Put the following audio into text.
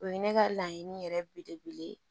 O ye ne ka laɲini yɛrɛ belebele ye